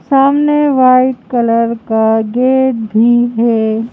सामने white colour का gate भी है।